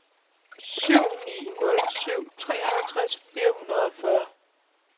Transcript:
syv ni nul syv treoghalvtreds fire hundrede og fyrre